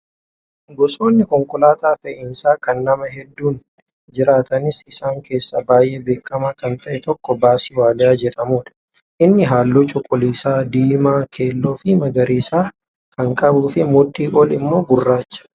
Gosoonni konkolaataa fe'iisaa kan namaa hedduun jiraatanis isaan keessaa baay'ee beekamaa kan ta'e tokko baasii waaliyaa jedhamudha. Innis halluu cuquliisa, diimaa keelloo fi magariisa kan qabuu fi mudhii ol immoo gurraacha.